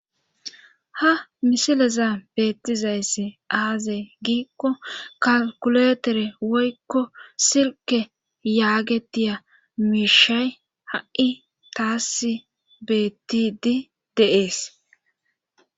Ha misileza beettizayss aaze giikko kalkuletere woykko silke yaagetiya miishay ha7i taas betidi deees